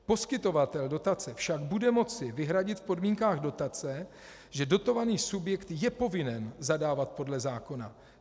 Poskytovatel dotace však bude moci vyhradit v podmínkách dotace, že dotovaný subjekt je povinen zadávat podle zákona.